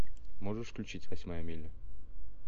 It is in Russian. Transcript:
можешь включить восьмая миля